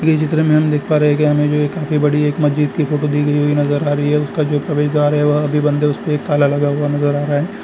ये चित्र में हम देख पा रहे हैं हमे जो ये काफी बड़ी जो मस्जिद की फोटो देखने में नजर आ रही है इसमें जो प्रवेश द्वार है वह अभी बंद है उसमें ताला लगा हुआ नज़र आ रहा है।